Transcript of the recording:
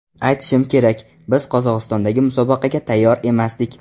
Aytishim kerak, biz Qozog‘istondagi musobaqaga tayyor emasdik.